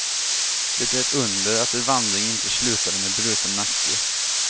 Det är ett under att er vandring inte slutade med bruten nacke.